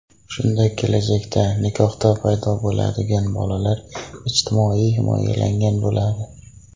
Shunda kelajakda nikohda paydo bo‘ladigan bolalar ijtimoiy himoyalangan bo‘ladi.